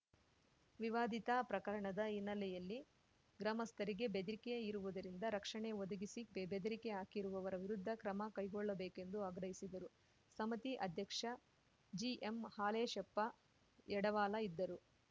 ವಿವಾದಿತ ಪ್ರಕರಣದ ಹಿನ್ನೆಲೆಯಲ್ಲಿ ಗ್ರಾಮಸ್ಥರಿಗೆ ಬೆದ್ರಿಕೆ ಇರುವುದರಿಂದ ರಕ್ಷಣೆ ಒದಗಿಸಿ ಬೆ ಬೆದ್ರಿಕೆ ಹಾಕಿರುವವರ ವಿರುದ್ಧ ಕ್ರಮ ಕೈಗೊಳ್ಳಬೇಕೆಂದು ಆಗ್ರಹಿಸಿದರು ಸಮಿತಿ ಅಧ್ಯಕ್ಷ ಜಿಎಂಹಾಲೇಶಪ್ಪ ಯಡವಾಲ ಇದ್ದರು